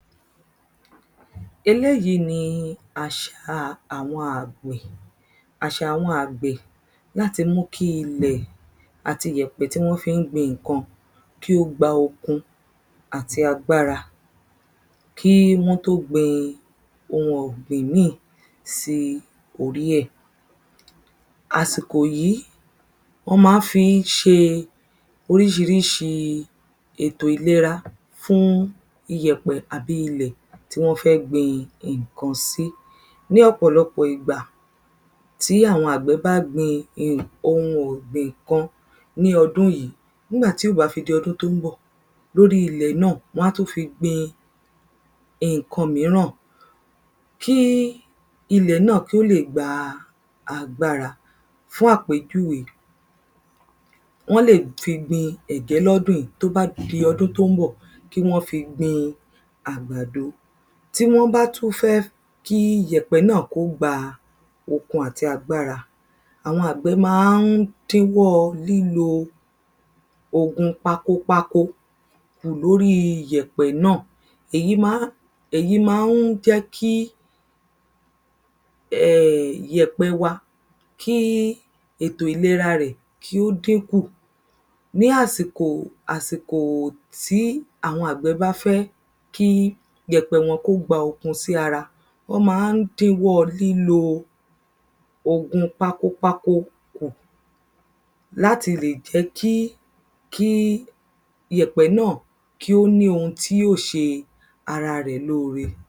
Eléyì ni àṣà àwọn àgbẹ̀ Àṣà àwọn àgbẹ̀ láti mú kí ilẹ̀ àti ìyẹ̀pẹ̀ tí wọ́n fi ń gbin nǹkan kí ó gba okun àti agbára Kí wọ́n tó gbin oun ọ̀gbìn ìmíì sí orí ẹ̀ Àsìkò yìí wọ́n máa ń fi ṣe oríṣiríṣi ètò ìlera fún iyẹ̀pẹ̀ àbí ilẹ̀ tí wọ́n fẹ́ gbìn nǹkan sí Ní ọ̀pọ̀lọpọ̀ ìgbà tí àwọn àgbẹ̀ bá gbin oun ọ̀gbìn kan ní ọdún yìí nígbà tí ó bá fi di ọdún tí ó ń bọ̀ ní orí ilẹ̀ náà wọn á tún fi gbin nǹkan mìíràn Kí ilẹ̀ náà kí ó lè gba agbára Fún àpèjúwe Wọ́n le fi gbin ẹ̀gẹ́ ní ọdún yìí tí ó bá di ọdún tí ó ń bọ̀ kí wọ́n fi gbin àgbàdo Tí wọ́n bá tún fẹ́ kí iyẹ̀pẹ̀ kí ó gba okun àti agbára àwọn àgbẹ̀ máa ń dín ọwọ́ lílo ògùn pakopako kù ní orí iyẹ̀pẹ̀ náà Èyí máa ń jẹ́ kí um iyẹ̀pẹ̀ wa kí ètò ìlera rẹ̀ kí ó dín kù Ní àsìkò tí àwọn àgbẹ̀ bá fẹ́ kí iyẹ̀pẹ̀ wọn kí ó gba okun sí ara wọn máa ń dín ọwọ́ lílò ògùn pakopako kù láti lè jẹ́ kí iyẹ̀pẹ̀ náà kí kí ó ní oun tí yóò ṣe ara rẹ̀ ní ore